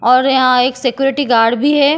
और यहां एक सिक्योरिटी गार्ड भी है।